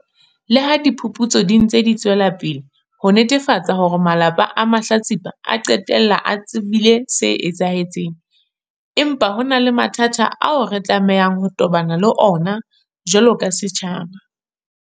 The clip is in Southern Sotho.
Leha diphuputso di ntse di tswela pele ho netefatsa hore malapa a mahlatsipa a qetella a tsebile se etsahetseng, empa ho na le mathata ao re tlamehang ho tobana le ona jwalo ka setjhaba.